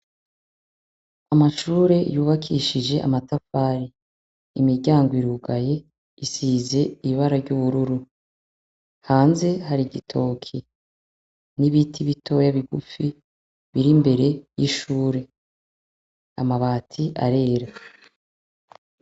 Amashure yubakishije amatafare, imiryango irugaye isize iibara ry'ubururu, hanze hari igitoki n'ibiti bitoya bigupfi biri mbere y'ishure amabati arera.